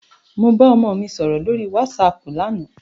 Mo bá ọmọ mi sọ̀rọ̀ lórí wásaàpù lánàá.